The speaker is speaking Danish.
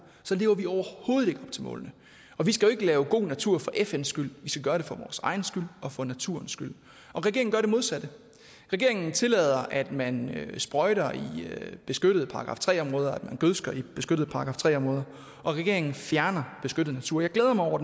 lever vi overhovedet ikke op til målene vi skal ikke lave god natur for fns skyld vi skal gøre det for vores egen skyld og for naturens skyld regeringen gør det modsatte regeringen tillader at man sprøjter i beskyttede § tre områder at man gødsker i beskyttede § tre områder og regeringen fjerner beskyttet natur jeg glæder mig over